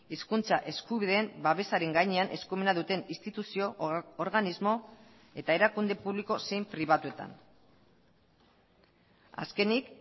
hizkuntza eskubideen babesaren gainean eskumena duten instituzio organismo eta erakunde publiko zein pribatuetan azkenik